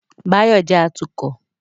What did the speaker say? Báyọ̀ jẹ́ atukọ̀